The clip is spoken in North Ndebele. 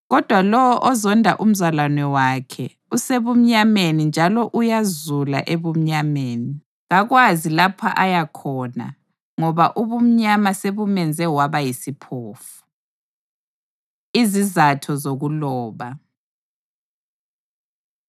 Kodwa lowo ozonda umzalwane wakhe usebumnyameni njalo uyazula ebumnyameni. Kakwazi lapho aya khona ngoba ubumnyama sebumenze waba yisiphofu. Izizatho Zokuloba